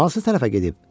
Hansı tərəfə gedib?